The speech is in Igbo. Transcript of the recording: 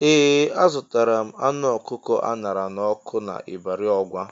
Ee! Azụtara m anụ ọkụkọ a ṅara n'ọkụ n'Ibari Ọgwa.